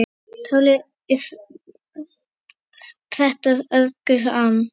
Táli pretta örgu ann